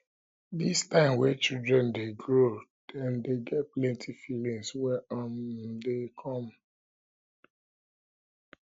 dis time wey children dey grow dem dey get plenty feelings wey um um dey come